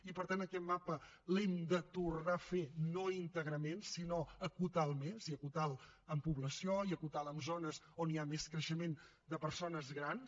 i per tant aquest mapa l’hem de tornar a fer no íntegrament sinó acotar lo més i acotar lo per població i acotar lo per zones on hi ha més creixement de persones grans